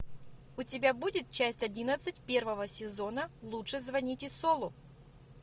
у тебя будет часть одиннадцать первого сезона лучше звоните солу